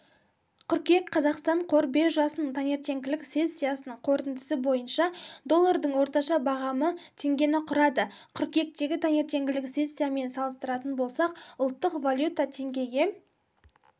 қыркүйек қазақстан қор биржасының таңертеңгілік сессиясының қорытындысы бойыша доллардың орташа бағамы теңгені құрады қыркүйектегі таңертеңгілік сессиямен салыстыратын болсақ ұлттық валюта теңгеге